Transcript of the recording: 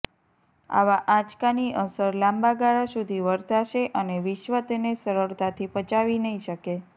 આવા આંચકાની અસર લાંબા ગાળા સુધી વર્તાશે અને વિશ્વ તેને સરળતાથી પચાવી નહીં શકે